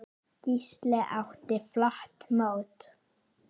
Gísli átti flott mót.